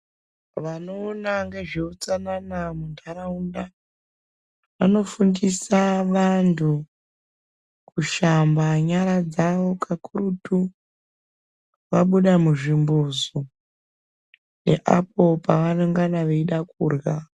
Vanoona ngezveutsanana mundaraunda vanofundisa vantu kushamba nyara dzavo kakurutu vabuda muzvimbuzu neapo pavanongana veida kurya.